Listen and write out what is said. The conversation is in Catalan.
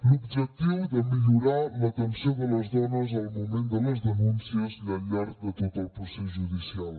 l’objectiu de millorar l’atenció de les dones al moment de les denúncies i al llarg de tot el procés judicial